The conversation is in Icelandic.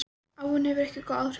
Áin hefur ekki góð áhrif á mig.